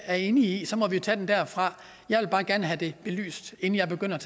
er enig i så må vi jo tage den derfra jeg vil bare gerne have det belyst inden jeg begynder